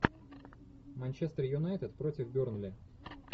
манчестер юнайтед против бернли